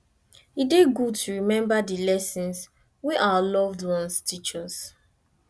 e dey good to remember the lessons wey our loved ones teach us